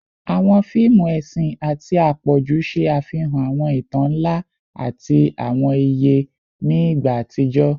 Awọn fiimu ẹsin ati apọju ṣe afihan awọn itan nla ati awọn iye ni igba atijọ